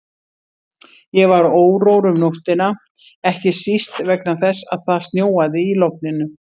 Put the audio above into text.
Ég var órór um nóttina, ekki síst vegna þess að það snjóaði í logninu.